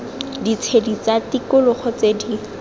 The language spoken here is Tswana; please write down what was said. ditshedi tsa tikologo tse di